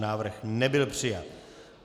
Návrh nebyl přijat.